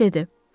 Dik dedi.